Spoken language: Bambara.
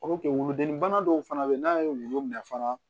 wuludennin bana dɔw fana bɛ yen n'a ye wulu minɛ fana